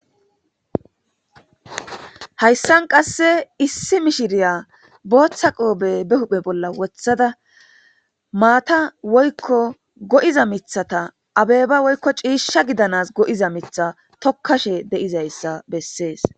hayssan qasse issi mishiriya booththa qoobe be huphe bolla wothada maata woykko go'iza mithata abeba woykko ciisha gidanas go'iza mitha tokkashe deizayssa bessees